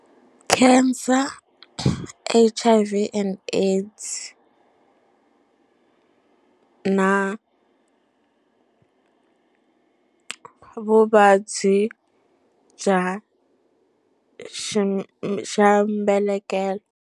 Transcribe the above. Cancer H_I_V and AIDS na vuvabyi bya xa xa mbelekelo.